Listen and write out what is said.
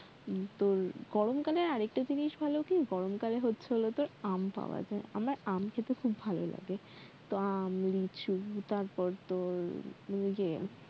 হম তোর গরমকালে আরেকটা জিনিস ভাল কি গরমকালে হচ্ছে হলো তোর আম পাওয়া যায় আমার আম খেতে খুব ভাল লাগে তো আম, লিচু তারপর তোর ওইযে